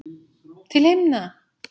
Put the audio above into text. Til himna!